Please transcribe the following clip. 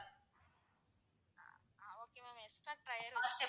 extra tyres லாம்,